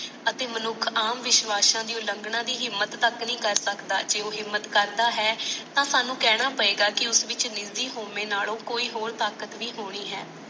ਅਤੇ ਮਨੁੱਖ ਆਮ ਵਿਸ਼ਵਾਸਾਂ ਦੀ ਹਿੰਮਤ ਤੱਕ ਨਹੀਂ ਕਰ ਸਕਦਾ ਤੇ ਜੇ ਕਰਦਾ ਉਹ ਕਰਦਾ ਤਾ ਸਾਨੂ ਕਾਣਾ ਪਵੇਗਾ ਕਿ ਉਸ ਵਿੱਚ ਨਿਜੀ ਹੋਵੇ ਨਾਲੋਂ ਕੋਈ ਹੋਰ ਤਾਕਤ ਵੀ ਹੋਣੀ ਹੈ